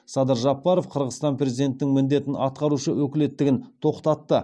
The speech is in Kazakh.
садыр жапаров қырғызстан президентінің міндетін атқарушы өкілеттігін тоқтатты